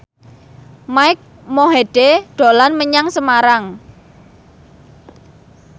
Mike Mohede dolan menyang Semarang